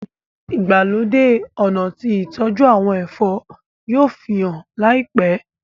ìgbàlódé ọnà tí ìtọjú àwọn ẹfọ yóò fihàn láìpé.